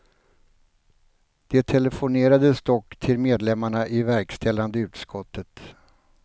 Det telefonerades dock till medlemmarna i verkställande utskottet.